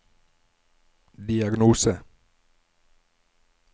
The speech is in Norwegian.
diagnose